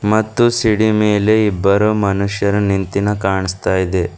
ಮತ್ತು ಸಿಡಿ ಮೇಲೆ ಇಬ್ಬರು ಮನುಷ್ಯರು ನಿಂತಿನ ಕಾಣಿಸ್ತಾ ಇದೆ.